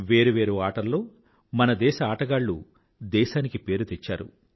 వేరు వేరు ఆటల్లో మన దేశ ఆటగాళ్ళు దేశానికి పేరు తెచ్చారు